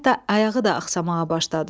Hətta ayağı da axşamağa başladı.